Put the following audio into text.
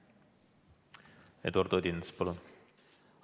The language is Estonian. Eduard Odinets, palun!